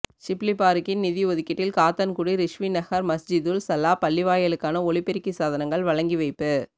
ஷிப்லி பாறுக்கின் நிதி ஒதுக்கீட்டில் காத்தான்குடி ரிஸ்வி நகர் மஸ்ஜிதுல் சலாஹ் பள்ளிவாயலுக்கான ஒலிபெருக்கி சாதனங்கள் வழங்கி வைப்பு